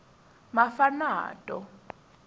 mafanato